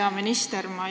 Hea minister!